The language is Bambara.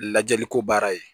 Lajɛliko baara ye